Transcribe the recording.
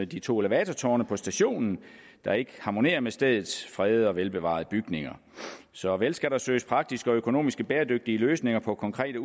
de to elevatortårne på stationen der ikke harmonerer med stedets fredede og velbevarede bygninger så vel skal der søges praktiske og økonomisk bæredygtige løsninger på konkrete